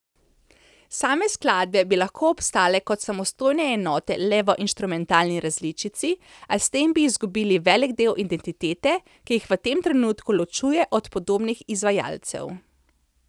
Same skladbe bi lahko obstale kot samostojne enote le v inštrumentalni različici, a s tem bi zgubili velik del identitete, ki jih v tem trenutku ločuje od podobnih izvajalcev.